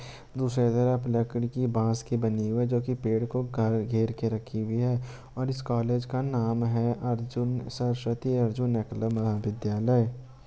दूसरे घर आप लकड़ी की बास की बनी हुई है जो की पेड़ को घेर के रखी हुई है और इस कॉलेज का नाम है अर्जुन सरस्वती अर्जुन एकला महा विद्यालय।